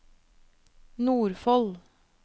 Nordfold